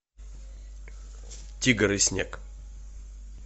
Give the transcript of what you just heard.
тигр и снег